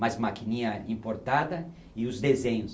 mais maquininha importada e os desenhos.